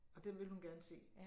Og den ville hun gerne se